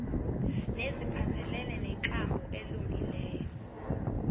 neziphathelene nenkambo elungileyo